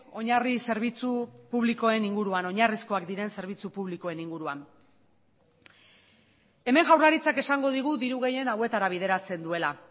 oinarri zerbitzu publikoen inguruan oinarrizkoak diren zerbitzu publikoen inguruan hemen jaurlaritzak esango digu diru gehiena hauetara bideratzen duela